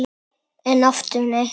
En aftur nei!